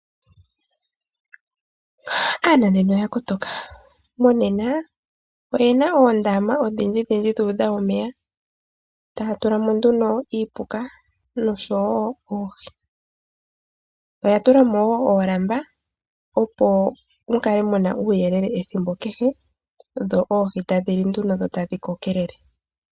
Aananena oya kotoka, monena oyena oondama odhindjidhidji dhu udha omeya taya tula mo nduno iipuka, noshowo oohi. Oya tulamo woo oolamba, opo mukale muna uuyelele ethimbo kehe, dho oohi tadhi li nduno dho tadhi kokelele.